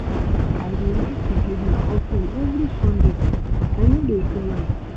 I dey like to give my offering every Sunday. I no dey fail am